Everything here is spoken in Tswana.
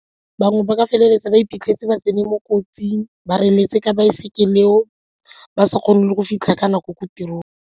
Bangwe ba ka feleletsa ba iphitlheletse ba tsene mo kotsing, ba reletse ka baesekele eo ba sa kgone le go fitlha ka nako ko tirong.